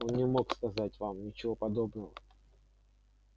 он не мог сказать вам ничего подобного